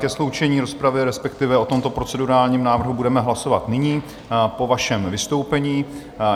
Ke sloučení rozpravy, respektive o tomto procedurálním návrhu budeme hlasovat nyní po vašem vystoupení.